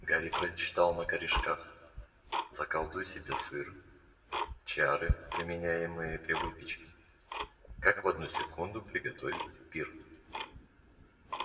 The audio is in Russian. гарри прочитал на корешках заколдуй себе сыр чары применяемые при выпечке как в одну секунду приготовить пир